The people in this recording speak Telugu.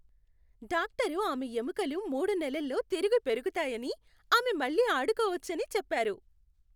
డాక్టరు ఆమె ఎముకలు మూడు నెలల్లో తిరిగి పెరుగుతాయని, ఆమె మళ్ళీ అడుకోవచ్చని చెప్పారు.